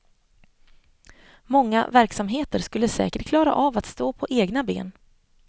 Många verksamheter skulle säkert klara av att stå på egna ben.